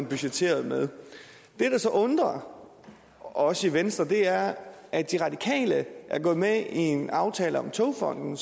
budgetteret med det der så undrer os i venstre er at de radikale er gået med i en aftale om togfonden